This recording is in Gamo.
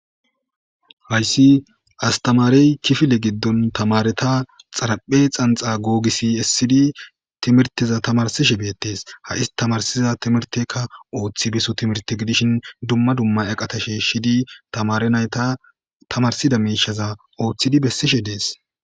Haysi astamaremey kifile gido tamareta xaraphe xabxa gogise esidi timirteza tamarsishe betese dese tamarsiza timirtekka othi beso timirte gidishin dumma dumma eqata shishidi Tamare nayra othi beso bolla des